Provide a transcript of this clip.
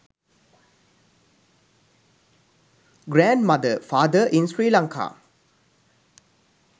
grand mother father in sri lanka